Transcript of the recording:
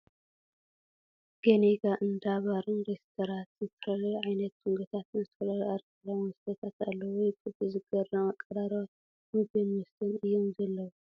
ገኒጋ እንዳ ባርን ሬስትራትን ዝተፈላለዩ ዓይነታት ምግቢታትን ዝተፈላለዩ ኣርኮላዊ መስተታት ኣለው ። ወይጉድ ! ዝገርም ኣቀራርባ ምግብን መስተን እዮም ዘለው ።